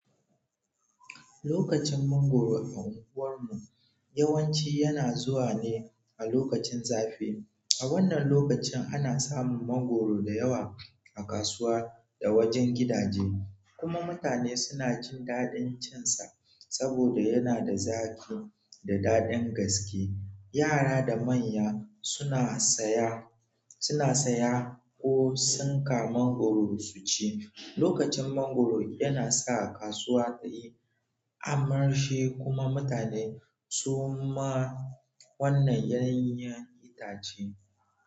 Lokacin mangwaro a unguwar mu yawanci yana zuwa ne a lokacin zafi. A wannan lokacin ana samun mangwaro da yawa a kasuwa da wajen gidaje, kuma mutane suna jin daɗin cin sa saboda yana da zaƙi da daɗin gaske. Yara da manya suna saya, suna saya ko sanka mangwaro su ci. Lokacin mangwaro yana kasuwa tayi armashi kuma mutane suma.